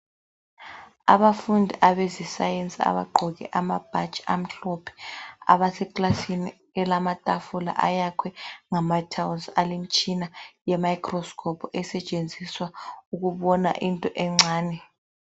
Abafundi abezesayensi abagqoke amabhatshi amhlophe abaseklasini elamatafula ayakhwe ngama tiles, alemitshina ye microscope esetshenziswa ukubona into encane.